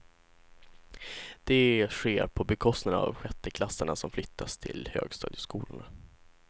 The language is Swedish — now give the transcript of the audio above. Det sker på bekostnad av sjätteklassarna som flyttas till högstadieskolorna.